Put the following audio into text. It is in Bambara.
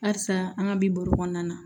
Halisa an ka bi burukɔnɔna na